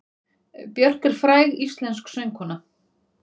Björk er fræg íslensk söngkona.